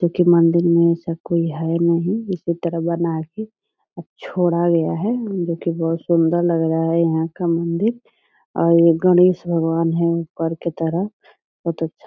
जो की मंदिर में ऐसा कोई है नहीं। इसी तरह बना के अ छोड़ा गया है जो की बहुत सुन्दर लग रहा है यहाँ का मंदिर और ये गणेश भगवान् हैं ऊपर की तरफ बहुत अच्छा --